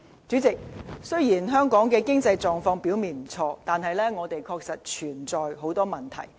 主席，雖然香港的經濟狀況表面不錯，但是，我們的確有很多隱憂。